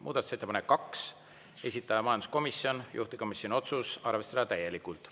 Muudatusettepanek nr 2, esitaja majanduskomisjon, juhtivkomisjoni otsus: arvestada täielikult.